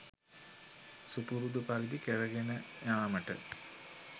සුපුරුදු පරිදි කරගෙන යාමට